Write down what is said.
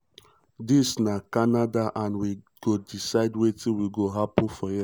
um "dis na canada and we go decide wetin go happun for here.